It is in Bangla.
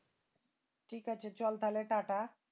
ঠিক আছে চল তাইলে টাটা